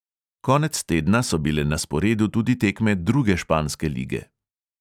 Konec tedna so bile na sporedu tudi tekme druge španske lige.